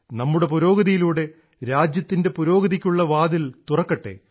നമ്മുടെ പുരോഗതിയിലൂടെ രാജ്യത്തിൻറെ പുരോഗതിക്കുള്ള വാതിൽ തുറക്കട്ടെ